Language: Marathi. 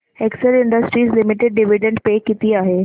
Excel Industries Limited dividend pay किती आहे